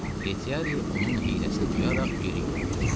Retiari onun hiyləsini duyaraq geri yüyürdü.